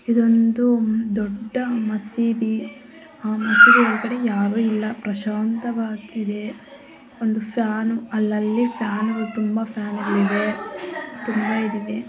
ಈದ್ ಒಂದು ದೊಡ್ಡ ಮಸೀದಿ. ಅಮೀಗ ಈಕಡೆ ಯಾವ ಇಲ್ಲ. ಪ್ರಶಾಂತವಾಗಿದೆ. ಒಂದು ಫ್ಯಾನ್ ಅಲ್ಲಾ ಇಲ್ಲಿ ಫ್ಯಾನ್ ತುಂಬಾ ಫ್ಯಾನ್ ಗಳಿವೆ. .